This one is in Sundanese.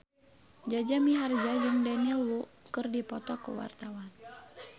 Jaja Mihardja jeung Daniel Wu keur dipoto ku wartawan